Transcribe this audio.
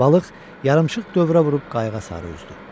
Balıq yarımsıq dövrə vurub qayığa sarı üzdü.